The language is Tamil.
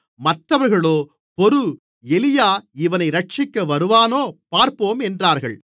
மற்றவர்களோ பொறு எலியா இவனை இரட்சிக்க வருவானோ பார்ப்போம் என்றார்கள்